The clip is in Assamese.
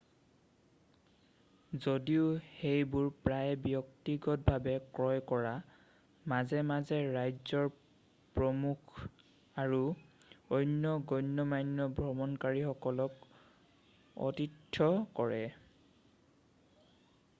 যদিও সেইবোৰ প্ৰায়ে ব্যক্তিগতভাৱে ক্ৰয় কৰা মাজে মাজে ৰাজ্যৰ প্ৰমুখ আৰু অন্য গণ্যমান্য ভ্ৰমণকাৰীসকলক অতিথ্য কৰে